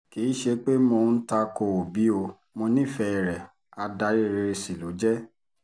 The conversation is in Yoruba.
kì í ṣe pé mò ń ta ko òbí o mọ́ nífẹ̀ẹ́ rẹ̀ adarí rere sí ló jẹ́